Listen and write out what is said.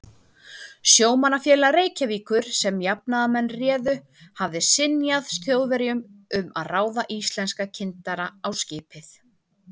Sjómannafélag Reykjavíkur, sem jafnaðarmenn réðu, hafði synjað Þjóðverjum um að ráða íslenska kyndara á skipið.